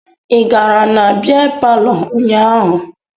Ị gara na bịa palọ ụnyaahụ?